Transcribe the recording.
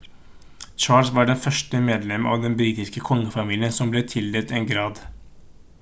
charles var det første medlemmet av den britiske kongefamilien som ble tildelt en grad